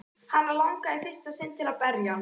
Hana langar í fyrsta sinn til að berja hann.